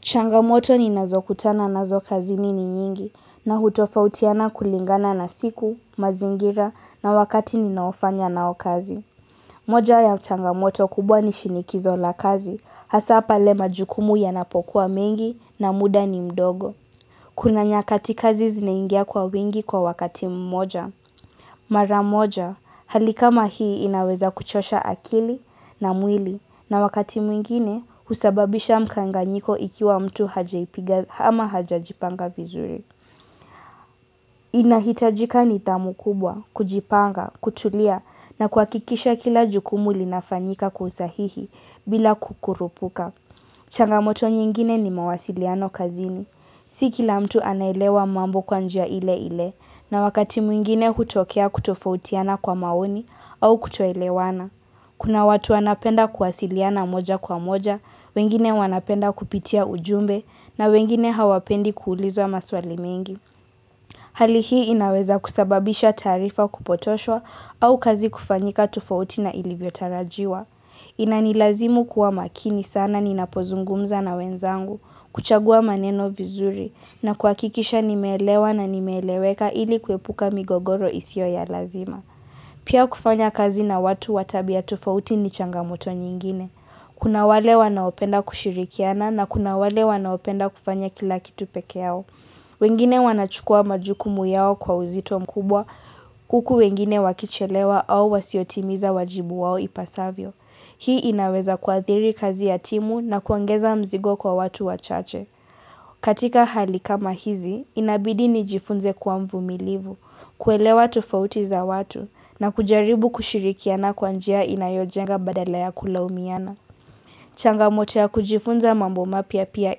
Changamoto ni nazo kutana nazo kazini ni nyingi na hutofautiana kulingana na siku, mazingira na wakati ninaofanya nao kazi. Moja ya changamoto kubwa ni shinikizo la kazi, hasa pale majukumu ya napokuwa mengi na muda ni mdogo. Kuna nyakati kazi zinaingia kwa wingi kwa wakati mmoja. Mara moja, hali kama hii inaweza kuchosha akili na mwili na wakati mwingine usababisha mkanganyiko ikiwa mtu hajaipiga ama haja jipanga vizuri. Inahitajika nithamu kubwa, kujipanga, kutulia na kuha kikisha kila jukumu linafanyika kusahihi bila kukurupuka. Changamoto nyingine ni mawasiliano kazini. Siki la mtu anaelewa mambo kwanjia ile ile na wakati mwingine hutokea kutofautiana kwa maoni au kutoelewana. Kuna watu wanapenda kuwasiliana moja kwa moja, wengine wanapenda kupitia ujumbe na wengine hawapendi kuulizwa maswali mengi. Hali hii inaweza kusababisha taarifa kupotoshwa au kazi kufanyika tofauti na ilivyo tarajiwa. Inani lazimu kuwa makini sana ninapozungumza na wenzangu, kuchagua maneno vizuri na kuhakikisha nimeelewa na nimeeleweka ili kuepuka migogoro isio ya lazima. Pia kufanya kazi na watu watabia tofauti ni changamoto nyingine. Kuna wale wanaopenda kushirikiana na kuna wale wanaopenda kufanya kila kitu pekee yao. Wengine wanachukua majukumu yao kwa uzito mkubwa, huku wengine wakichelewa au wasiotimiza wajibu wao ipasavyo. Hii inaweza kuathiri kazi ya timu na kuongeza mzigo kwa watu wachache. Katika hali kama hizi, inabidi nijifunze kuwa mvumilivu, kuelewa tofauti za watu, na kujaribu kushirikiana kwanjia inayojenga badala ya kula umiana. Changamoto ya kujifunza mambo mapya pia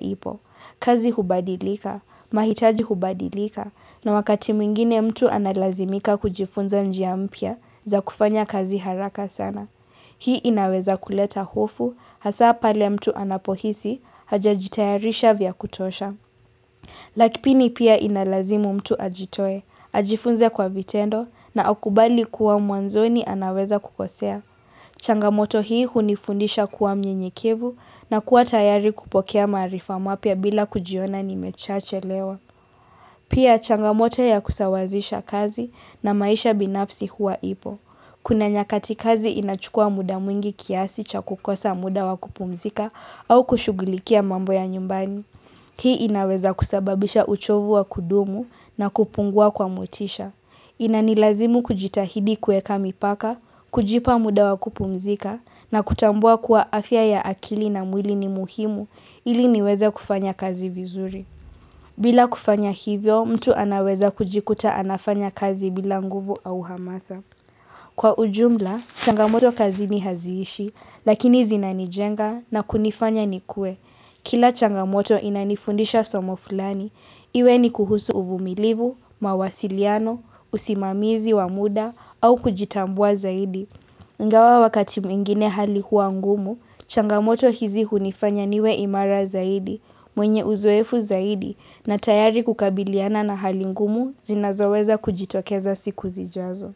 ipo. Kazi hubadilika, mahitaji hubadilika, na wakati mwingine mtu analazimika kujifunza njia mpya za kufanya kazi haraka sana. Hii inaweza kuleta hofu hasa pale mtu anapohisi haja jitayarisha vya kutosha. Lakpini pia inalazimu mtu ajitoe, ajifunze kwa vitendo na akubali kuwa mwanzoni anaweza kukosea. Changamoto hii hunifundisha kuwa mnyenyekevu na kuwa tayari kupokea maarifa mapya bila kujiona nimechache lewa. Pia changamoto ya kusawazisha kazi na maisha binafsi huwa ipo. Kuna nyakati kazi inachukua muda mwingi kiasi cha kukosa muda wa kupumzika au kushughulikia mambo ya nyumbani. Hii inaweza kusababisha uchovu wa kudumu na kupungua kwa motisha. Inanilazimu kujitahidi kuweka mipaka, kujipa muda wa kupumzika na kutambua kuwa afya ya akili na mwili ni muhimu ili niweza kufanya kazi vizuri. Bila kufanya hivyo, mtu anaweza kujikuta anafanya kazi bila nguvu au hamasa. Kwa ujumla, changamoto kazi ni haziishi, lakini zina nijenga na kunifanya ni kue. Kila changamoto inanifundisha somo fulani, iwe ni kuhusu uvumilivu, mawasiliano, usimamizi wa muda au kujitambua zaidi. Ingawa wakati mwingine hali huwangumu, changamoto hizi unifanya niwe imara zaidi, mwenye uzoefu zaidi na tayari kukabiliana na hali ngumu zinazoweza kujitokeza siku zijazo.